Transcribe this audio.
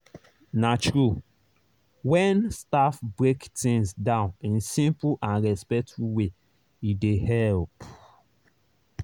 na true—when staff break things down in simple and respectful way e dey help.